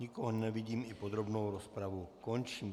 Nikoho nevidím, i podrobnou rozpravu končím.